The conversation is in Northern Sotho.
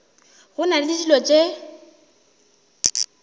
go na le dilo tše